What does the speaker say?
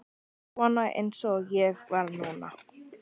Svona eins og ég var núna.